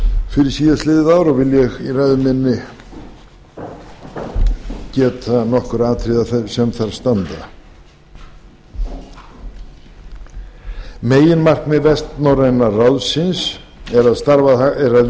fyrir síðastliðið ár og vil ég í ræðu minni geta nokkurra atriða sem þar standa meginmarkmið vestnorræna ráðsins er að